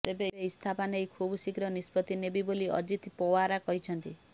ତେବେ ଇସ୍ତଫା ନେଇ ଖୁବ ଶୀଘ୍ର ନିଷ୍ପତ୍ତି ନେବି ବୋଲି ଅଜିତ ପୱାର କହିଛନ୍ତି